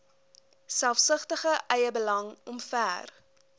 selfsugtige eiebelang omver